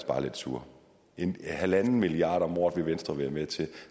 bare lidt sure en milliard kroner om året vil venstre være med til